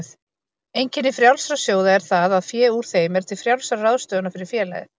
Einkenni frjálsra sjóða er það að fé úr þeim er til frjálsrar ráðstöfunar fyrir félagið.